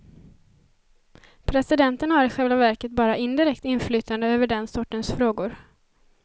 Presidenten har i själva verket bara indirekt inflytande över den sortens frågor.